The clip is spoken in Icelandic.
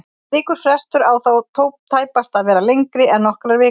Slíkur frestur á þó tæpast að vera lengri en nokkrar vikur.